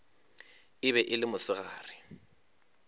e be e le mosegare